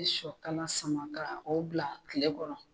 Be sɔ kala sama ka o bila tile kɔrɔ